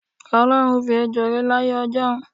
O̩ló̩run fi ejo ré láyé o̩jó̩un.